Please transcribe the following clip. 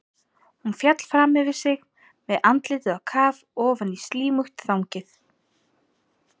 Hún féll fram yfir sig með andlitið á kaf ofan í slímugt þangið.